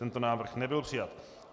Tento návrh nebyl přijat.